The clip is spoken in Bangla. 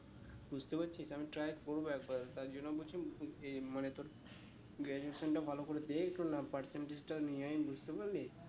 বুঝতে পারছিস আমি try করবো একবার তার জন্য বলছি ইয়ে মানে তোর graduation টা ভালো করে দে একটু নাম~ percentage টা নিয়ে আয়ে বুঝতে পারলি